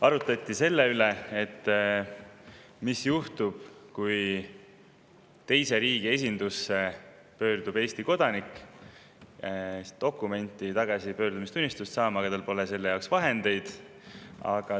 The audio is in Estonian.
Arutleti selle üle, mis juhtub, kui teise riigi esindusse pöördub Eesti kodanik tagasipöördumistunnistust saama, aga tal pole selle jaoks raha.